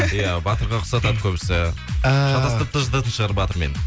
иә батырға ұқсатады көбісі эээ шатастырып та жататын шығар батырмен